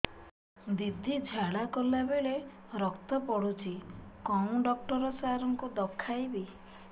ଦିଦି ଝାଡ଼ା କଲା ବେଳେ ରକ୍ତ ପଡୁଛି କଉଁ ଡକ୍ଟର ସାର କୁ ଦଖାଇବି